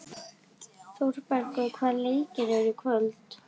Þórbergur, hvaða leikir eru í kvöld?